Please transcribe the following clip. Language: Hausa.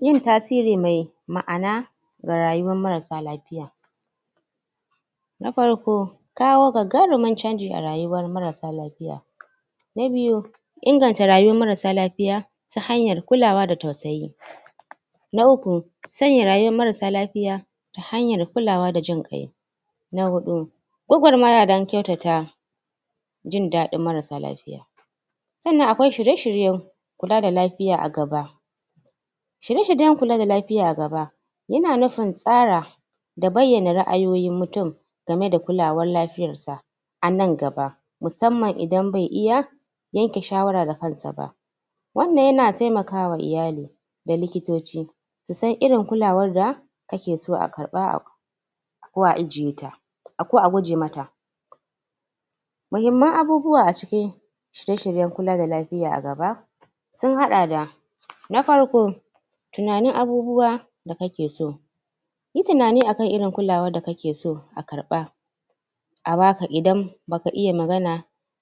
Yin tasiri mai ma'ana ga rayuwan marasa lafiya na farko [1] kawo gan gangarumin canji a rayuwar marasa lafiya na biyu [2] inganta rayuwar marasa lafiya ta hanyar kulawa da tausayi na uku [3] sanya rayuwar marasa lafiya ta hanyar kulawa da jin kai nas hudu [4] gagarmaya dan kyautata jin dadin marasa lafiya sannan akwai shirye-shirye kula da lafiya a gaba shirya-shiryan kula da lafiya a gaba yana nufin tsara da bayyana ra'ayoyin mutum da bayyana kul; awar lafiyar sa a nan gaba musamman mutum bai iya yanke shawara da kansa ba wannan yana taimakawa iyali da likitoci su san irin kulawar da kake so a karba a ko a ajiyeta ko a guje mata muhimman abubuwa a cikin shirye -shiryen kulawa da lafiya a gaba sun hada da na farko [1] tunanin abubuwan da akake so yi tinanin irin kulawar da kake so ka karba a baka idan baka iya magana